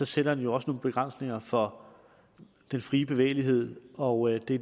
sætter det også nogle begrænsninger for den frie bevægelighed og det